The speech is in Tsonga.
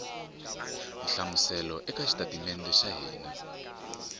hlamusela eka xitatimede xa hina